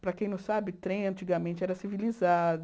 Para quem não sabe, trem antigamente era civilizado.